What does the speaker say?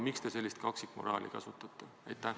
Miks te sellist kaksikmoraali kasutate?